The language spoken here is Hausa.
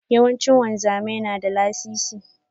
Yawanci wanzami na da lasisi.